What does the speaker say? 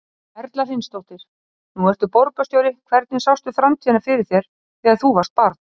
Erla Hlynsdóttir: Nú ertu borgarstjóri, hvernig sástu framtíðina fyrir þér þegar þú varst barn?